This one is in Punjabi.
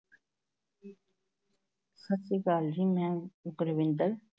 ਸਤਿ ਸ੍ਰੀ ਅਕਾਲ ਜੀ ਮੈਂ ਕੁਲਵਿੰਦਰ